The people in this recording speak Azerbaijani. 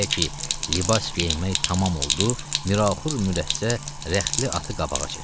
Elə ki, libas geyinmək tamam oldu, Miraxur mürəssə rəxtli atı qabağa çəkdi.